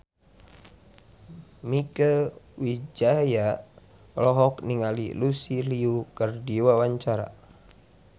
Mieke Wijaya olohok ningali Lucy Liu keur diwawancara